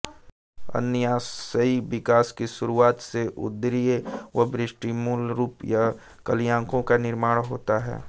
अग्न्याशयी विकास की शुरुआत से उदरीय व पृष्ठीय मूलरूप या कलियों का निर्माण होता है